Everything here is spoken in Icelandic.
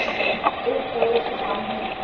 Uppboðið fer fram á netinu.